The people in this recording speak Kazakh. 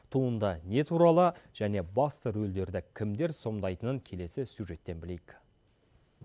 туынды не туралы және басты рөлдерді кімдер сомдайтынын келесі сюжеттен білейік